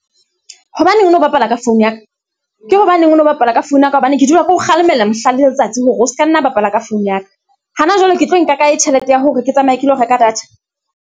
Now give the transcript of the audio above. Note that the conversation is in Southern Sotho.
Hobaneng o no bapala ka phone ya ka? Ke hobaneng o no bapala ka phone ya ka, hobane ke dula ke ho kgalemella mehla le letsatsi hore o seka nna bapala ka phone ya ka? Ha na jwale ke tlo e nka kae tjhelete ya hore ke tsamaye ke lo reka data?